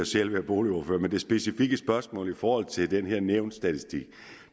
selv været boligordfører men det specifikke spørgsmål i forhold til den her nævnsstatistik